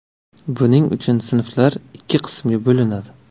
Buning uchun sinflar ikki qismga bo‘linadi.